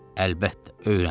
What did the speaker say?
Əlbəttə, öyrən.